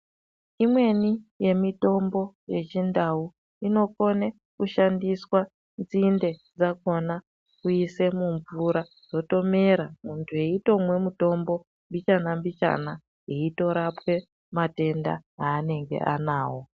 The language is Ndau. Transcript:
Imweni yemitombo yechiNdau inokone kushandiswa nzinde dzakona kuise mumvura yotomera muntu eitomwe mutombo mbichana-mbichana eitorapwe matenda aanenge anawo.